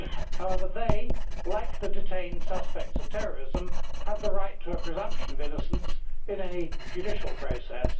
However they, like the detained suspects of terrorism, have the right to the presumption of innocence in any judicial process.